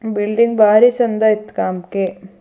Building ಬಾರಿ ಚಂದ ಆಯ್ತು ಕಾಂಕ್ಕೆ.